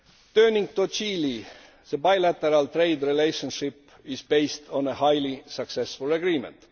Turning to Chile, the bilateral trade relationship is based on a highly successful agreement.